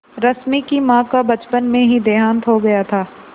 रश्मि की माँ का बचपन में ही देहांत हो गया था